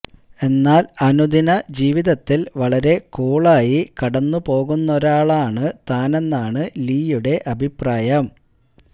എന്നാൽ അനുദിന ജീവിതത്തിൽ വളരെ കൂളായി കടന്നു പോകുന്നൊരാളാണ് താനെന്നാണ് ലീയുടെ അഭിപ്രായം